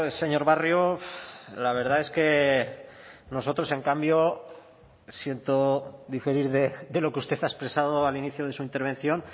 señor barrio la verdad es que nosotros en cambio siento diferir de lo que usted ha expresado al inicio de su intervención